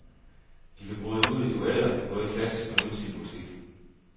De kan bryde ud i duetter, både klassisk og nutidig musik.